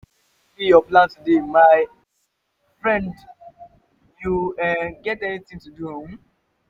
wetin be your plan today my um friend you um get anything to do? um